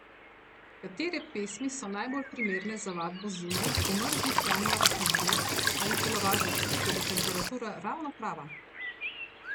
Katere pesmi so najbolj primerne za vadbo zunaj v mrzlih januarskih dneh ali v telovadnici, kjer je temperatura ravno prava?